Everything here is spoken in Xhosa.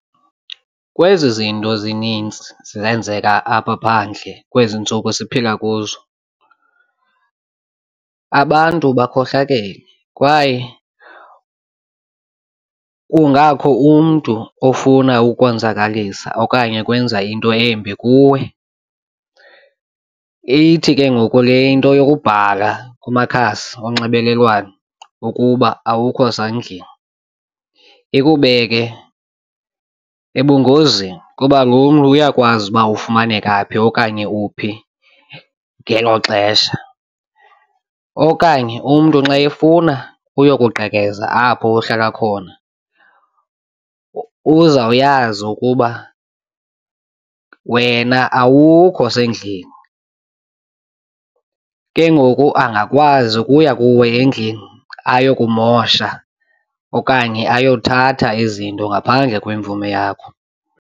Kwezi zinto zinintsi zenzeka apha phandle kwezi ntsuku siphila kuzo abantu bakhohlakele kwaye kungakho umntu ofuna ukonzakalisa okanye ukwenza into embi kuwe. Ithi ke ngoku le into yokubhala kumakhasi onxibelelwano ukuba awukho zandleni ikubeke ebungozini kuba lo mntu uyakwazi uba ufumaneka phi okanye uphi ngelo xesha. Okanye umntu xa efuna uyokugqekeza apho uhlala khona uzawuyazi ukuba wena awukho sendlini, ke ngoku angakwazi ukuya kuwe endlini ayokumosha okanye ayothatha izinto ngaphandle kwemvume yakho.